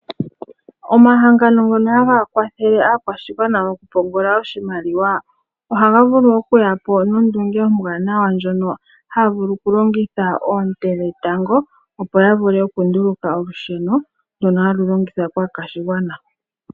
Omahangano ngoka haga kwathele aakwashigwana moku pungula oshimaliwa, ohaga vulu oku yapo no nondunge ombwanawa ndjono haya vulu oku longitha oonte dhetango, opo ya vule oku nduluka olusheno ndoka halu longithwa kaakwashigwana.